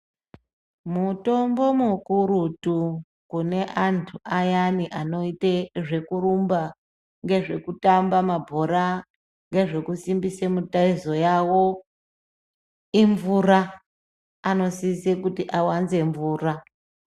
Mutombo mukurutu kune antu ayani anoite zvekurumba ngezvekutamba mabhora ngezvekusimbise mitezo yavo imvura. Anosise kuti awanze mvura.